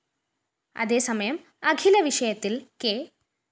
അതേസമയം അഖില വിഷയത്തില്‍ കെ